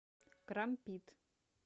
крампит